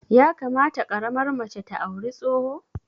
Ya kamata ƙaramar mace ta auri tsoho?